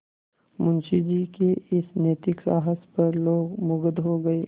मुंशी जी के इस नैतिक साहस पर लोग मुगध हो गए